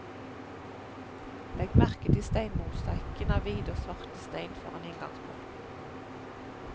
Legg merke til stenmosaikken av hvite og svarte sten foran inngangsporten.